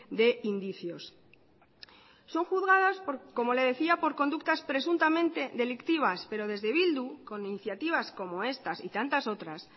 de indicios son juzgadas como le decía por conductas presuntamente delictivas pero desde bildu con iniciativas como estas y tantas otras